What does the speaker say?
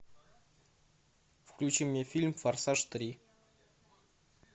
включи мне фильм форсаж три